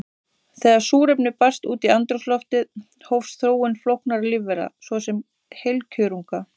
Þegar súrefni barst út í andrúmsloftið hófst þróun flóknara lífvera, svo sem heilkjörnunga.